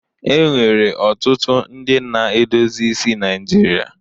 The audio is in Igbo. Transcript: E nwere ọtụtụ ndị na-edozi isi Naịjirịa.